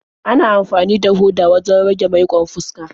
Ana amfani da hoda wajen rage maiƙon fuska.